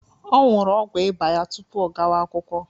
Ọ ñyuru ọgwu Ịba ya tupu ọ gawa-akwụkwọ.